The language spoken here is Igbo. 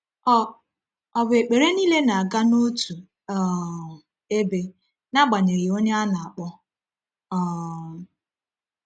Ọ Ọ bụ ekpere niile na-aga n’otu um ebe, n’agbanyeghị onye a na-akpọ? um